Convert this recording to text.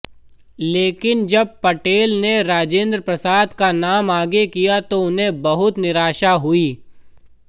लेकिन जब पटेल ने राजेंद्र प्रसाद का नाम आगे किया तो उन्हें बहुत निराशा हुई